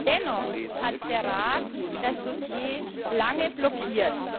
Dennoch hat der Rat das Dossier lange blockiert.